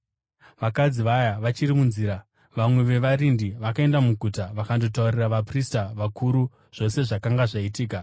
Vakadzi vaya vachiri munzira, vamwe vevarindi vakaenda muguta vakandotaurira vaprista vakuru zvose zvakanga zvaitika.